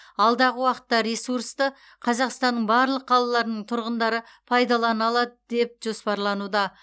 алдағы уақытта ресурсты қазақстанның барлық қалаларының тұрғындары пайдалана алады деп жоспарлануда